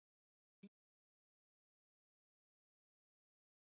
Hringir vikulega í vininn